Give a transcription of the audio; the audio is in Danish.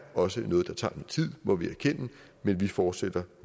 også noget der tager tid må vi erkende men vi fortsætter